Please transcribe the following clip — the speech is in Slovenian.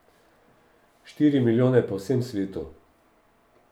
Štiri milijone po vsem svetu.